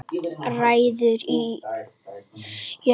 Rætur í jörð